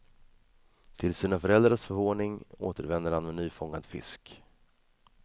Till sina föräldrars förvåning återvänder han med nyfångad fisk.